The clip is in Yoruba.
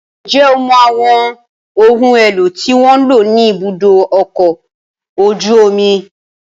Ǹjẹ́ o mọ àwọn ohun èlò tí wọ́n ń lò ní ibùdó ọkọ̀ ojú omi?